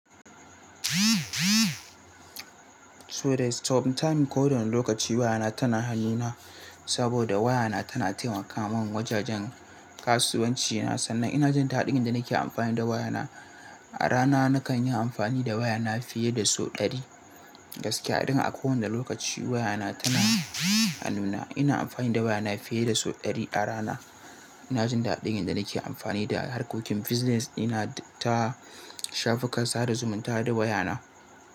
So the stop timing kodawana lokaci waya na tana hannu na saboda waya na tana taimaka min wajajen kasuwanci na sannan ina jin daɗin yadda nake amfani da waya na. A rana nakan yi amfani da waya na fiye da sau ɗari. Gaskiya, don a kowane lokaci waya na tana hanuna. Ina amfani da waya na fiye da sau ɗari a rana. Ina jin daɗin yadda nake amfani da harkokin business ɗina duk ta shafukan sada zumunta da waya na.